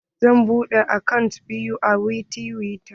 Zan buɗe akant biyu a tiwita.